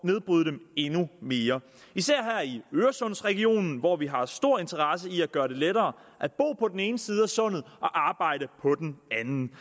nedbryde dem endnu mere især her i øresundsregionen hvor vi har stor interesse i at gøre det lettere at bo på den ene side af sundet og arbejde på den anden